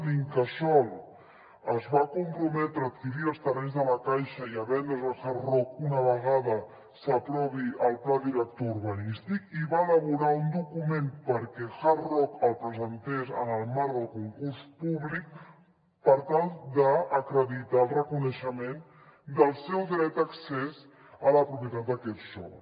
l’incasòl es va comprometre a adquirir els terrenys de la caixa i a vendre’ls al hard rock una vegada s’aprovi el pla director urbanístic i va elaborar un document perquè hard rock el presentés en el marc del concurs públic per tal d’acreditar el reconeixement del seu dret d’accés a la propietat d’aquest sòl